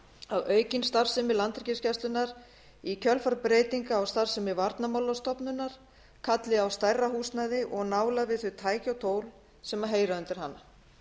að aukin starfsemi landhelgisgæslunnar í kjölfar breytinga á starfsemi varnarmálastofnunar kalli á stærra húsnæði og nálægð við þau tæki og tól sem heyra undir hana